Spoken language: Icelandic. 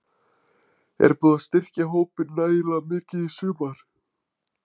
Er búið að styrkja hópinn nægilega mikið í sumar?